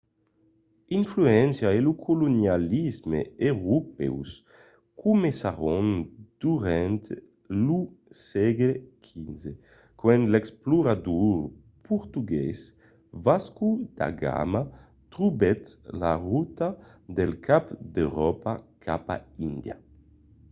l'influéncia e lo colonialisme europèus comencèron pendent lo sègle xv quand l'explorador portugués vasco da gama trobèt la rota del cap d'euròpa cap a índia